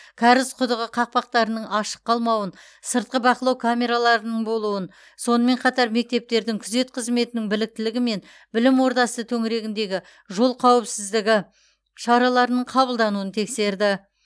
кәріз құдығы қақпақтарының ашық қалмауын сыртқы бақылау камераларының болуын сонымен қатар мектептердің күзет қызметінің біліктілігі мен білім ордасы төңірегіндегі жол қауіпсіздігі шараларының қабылдануын тексерді